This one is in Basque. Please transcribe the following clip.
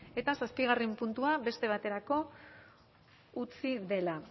eta zazpigarren puntua beste baterako utzi dela